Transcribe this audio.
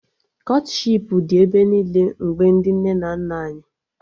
Kọtshipu dị ebe niile mgbe ndị nne na nna anyị